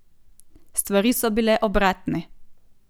Stvari so bile obratne.